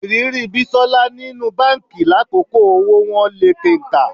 Ìrírí Bísọ́lá nínú báǹkì lákòókò owó wọ́n lé kenkà